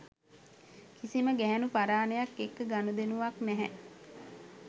කිසිම ගැහැණු පරානයක් එක්ක ගණුදෙනුවක් නැහැ